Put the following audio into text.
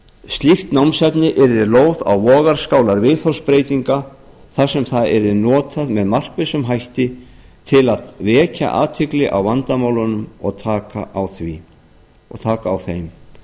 slíkt námsefni yrði lóð á vogarskálar viðhorfsbreytinga þar sem það yrði notað með markvissum hætti að að vekja athygli á vandamálunum og taka á þeim